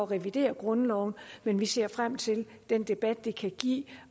revidere grundloven men vi ser frem til den debat det kan give